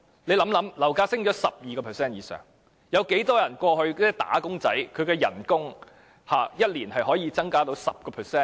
試想想，樓價上升逾 12%， 有多少"打工仔"的薪酬一年可以增加 10%？